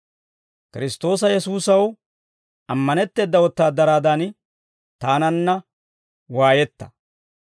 Kiristtoosa Yesuusaw ammanetteeda wotaadaraadan, taananna waayetta.